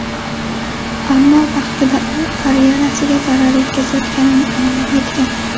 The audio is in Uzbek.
Ammo vaqtida u karyerasiga zarar yetkazayotganini anglab yetgan.